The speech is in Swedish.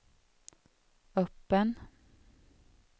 öppen